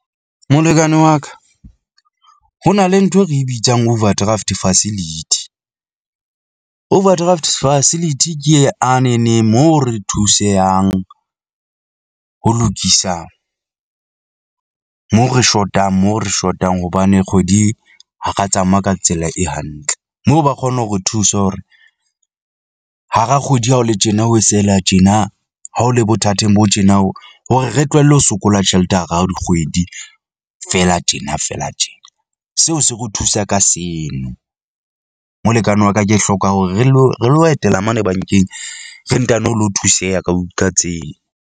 Molekane wa ka ho na le ntho e re bitsang overdraft facility . Overdraft facility, ke e a neneng moo re thusehang ho lokisa moo re shotang moo re shotang hobane kgwedi ha ra tsamaya ka tsela e hantle moo ba kgone ho re thuse hore hara kgwedi ha ho le tjena ho sehela tjena ha o le bothateng bo tjena, hore re tlohelle ho sokola tjhelete hara hao dikgwedi fela tjena fela tje. Seo se re o thusa ka seno. Molekane wa ka ke hloka hore re lo re lo etela mane bank-eng, re ntano lo thuseha ka ka tseo.